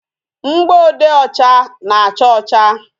Mgboode ọcha na-acha ọcha